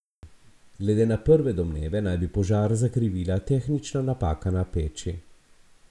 Glede na prve domneve naj bi požar zakrivila tehnična napaka na peči.